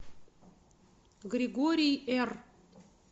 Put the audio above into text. григорий р